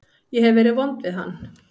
Ég hef verið vond við hann.